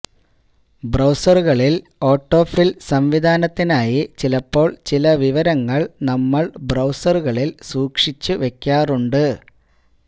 ബ്രൌസറുകളില് ഒട്ടോഫില് സംവിധാനത്തിനായി ചിലപ്പോള് ചില വിവരങ്ങള് നമ്മള് ബ്രൌസറുകളില് സൂക്ഷിച്ചുവെക്കാറുണ്ട്